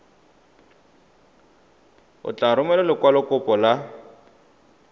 o tla romela lekwalokopo la